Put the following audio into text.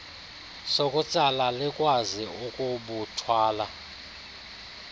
sokutsala likwazi ukubuthwala